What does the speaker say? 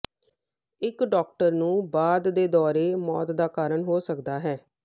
ਇੱਕ ਡਾਕਟਰ ਨੂੰ ਬਾਅਦ ਦੇ ਦੌਰੇ ਮੌਤ ਦਾ ਕਾਰਨ ਹੋ ਸਕਦਾ ਹੈ